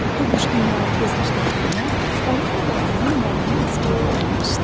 Bu quş dünyaya göz açdığı gündən onun dodağından nəğmə əskiyi olmamışdı.